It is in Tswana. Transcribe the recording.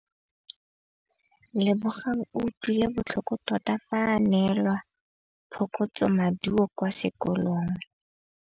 Lebogang o utlwile botlhoko tota fa a neelwa phokotsômaduô kwa sekolong.